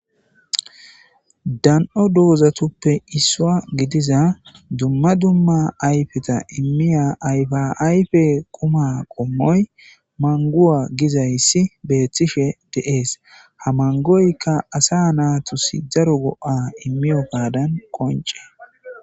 Danoo doozatappe isswa gidiza dumma dumma ayfeta immiya ayfa ayfe qumma qommoy manguwa gizayssi beeththishe de'ees haa mangoykka asa naatus daro go'a immiyogaadan qonce